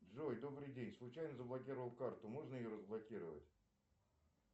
джой добрый день случайно заблокировал карту можно ее разблокировать